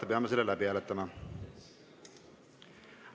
Me peame selle läbi hääletama.